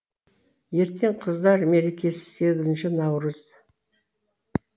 ертең қыздар мерекесі сегізінші наурыз